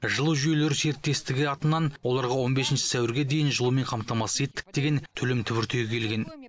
жылу жүйелері серіктестігі атынан оларға он бесінші сәуірге дейін жылумен қамтамасыз еттік деген төлем түбіртегі келген